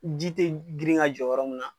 Ji tɛ grinka jɔ yɔrɔ min na.